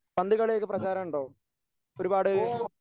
പന്തുകളി ഒക്കെ പ്രചാരം ഉണ്ടോ? ഒരുപാട്